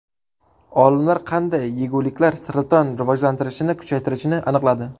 Olimlar qanday yeguliklar saraton rivojlanishini kuchaytirishini aniqladi.